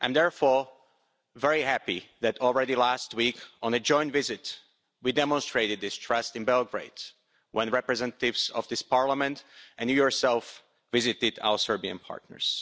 I am therefore very happy that already last week, on a joint visit, we demonstrated this trust in Belgrade, when representatives of this Parliament and you yourself, Commissioner, visited our Serbian partners.